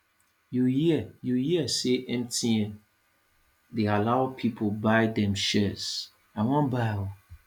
you hear you hear say mtn dey allow people buy dem shares i wan buy oo